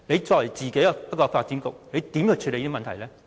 作為發展局局長，他怎樣處理這個問題呢？